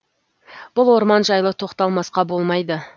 бұл орман жайлы тоқталмасқа болмайды